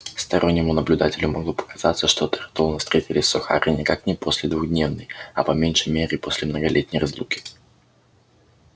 стороннему наблюдателю могло показаться что тарлтоны встретились с охара никак не после двухдневной а по меньшей мере после многолетней разлуки